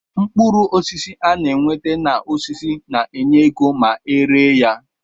Mkpụrụ osisi ana enweta na osisi na enye égo ma eree ya.